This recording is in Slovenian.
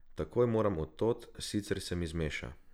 Takoj moram od tod, sicer se mi zmeša.